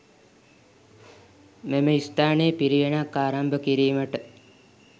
මෙම ස්ථානයේ පිරිවෙනක් ආරම්භ කිරීමට